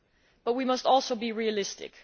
But we must also be realistic.